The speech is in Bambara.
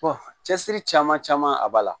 cɛsiri caman caman a b'a la